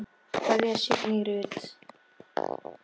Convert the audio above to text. Kveðja, Signý Rut.